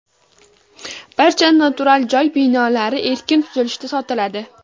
Barcha noturar joy binolari erkin tuzilishda sotiladi.